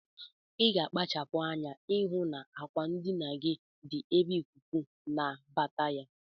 Iga akpachapu anya ihu na akwa ndinagi di ebe ikuku nabata ya.